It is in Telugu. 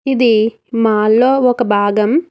ఇది మాల్లో ఒక భాగం.